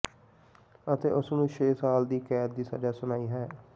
ਅਤੇ ਉਸ ਨੂੰ ਛੇ ਸਾਲ ਦੀ ਕੈਦ ਦੀ ਸਜ਼ਾ ਸੁਣਾਈ ਹੈ